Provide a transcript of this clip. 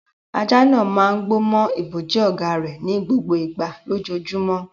Ajá náà máa ń gbó mọ́ ibojì ọ̀gá rẹ̀ ní gbogbo ìgbà lójoojúmọ́.